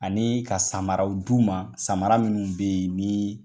Ani ka samaraw d'u ma samara minnu bɛ yen ni